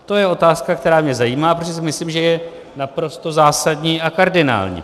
To je otázka, která mě zajímá, protože si myslím, že je naprosto zásadní a kardinální.